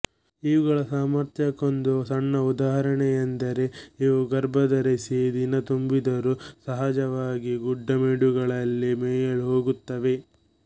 ಇವುಗಳ ಸಾಮರ್ಥ್ಯಕ್ಕೊಂದು ಸಣ್ಣ ಉದಾಹರಣೆ ಎಂದರೆ ಇವು ಗರ್ಭ ಧರಿಸಿ ದಿನ ತುಂಬಿದರೂ ಸಹಜವಾಗಿ ಗುಡ್ಡ ಮೇಡುಗಳಲ್ಲಿ ಮೇಯಲು ಹೋಗುತ್ತವೆ